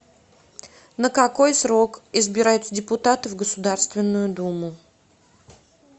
на какой срок избираются депутаты в государственную думу